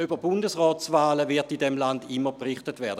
Über Bundesratswahlen wird in diesem Land immer berichtet werden;